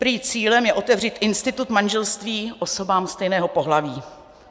Prý je cílem otevřít institut manželství osobám stejného pohlaví.